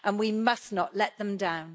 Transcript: We must not let them down.